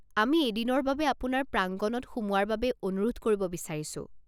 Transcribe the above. আমি এদিনৰ বাবে আপোনাৰ প্ৰাংগণত সোমোৱাৰ বাবে অনুৰোধ কৰিব বিচাৰিছো।